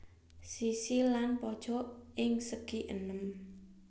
Sisi lan pojok ing segienem